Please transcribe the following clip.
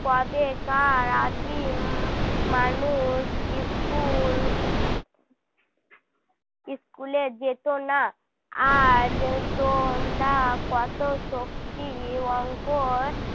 কবেকার আদিম মানুষ school school এ যেত না আজ তো আমরা কত শক্তি অঙ্ক